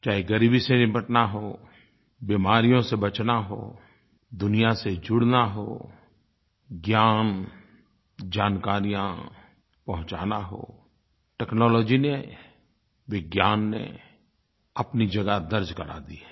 चाहे ग़रीबी से निपटना हो बीमारियों से बचना हो दुनिया से जुड़ना हो ज्ञान जानकारियाँ पहुँचाना हो टेक्नोलॉजी ने विज्ञान ने अपनी जगह दर्ज़ करा दी है